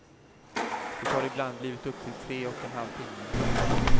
Det har ibland blivit upp till tre och en halv timme.